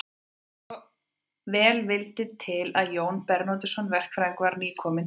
Svo vel vildi til að Jón Bernódusson verkfræðingur var nýkominn til